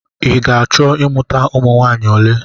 I ga-achọ ịmụta ụmụ nwaanyị ole?